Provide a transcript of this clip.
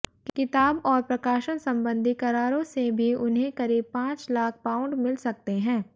किताब और प्रकाशन संबंधी करारों से भी उन्हें करीब पांच लाख पाउंड मिल सकते हैं